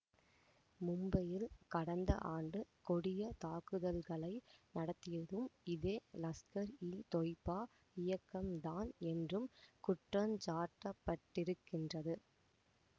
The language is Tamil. மும்பையில் கடந்த ஆண்டு கொடிய தாக்குதல்களை நடத்தியதும் இதே லஸ்கர் இதொய்பா இயக்கம் தான் என்றும் குற்றஞ்சாட்டப்பட்டிருக்கின்றது